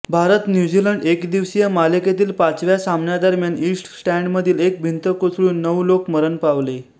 भारतन्यूझीलंड एकदिवसीय मालिकेतील पाचव्या सामन्यादरम्यान इस्ट स्टँडमधील एक भिंत कोसळून नऊ लोक मरण पावले